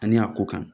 Ani a ko kan